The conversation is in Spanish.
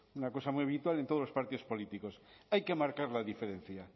una cosa muy habitual en todos los partidos políticos hay que marcar la diferencia